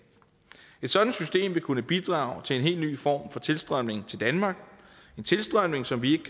et sådant system vil kunne bidrage til en helt ny form for tilstrømning til danmark en tilstrømning som vi